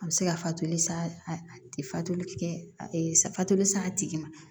A bɛ se ka fatoli sa a tɛ fatu a bɛ fatoli sa a tigi ma